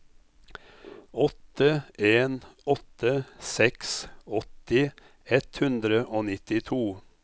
åtte en åtte seks åtti ett hundre og nittito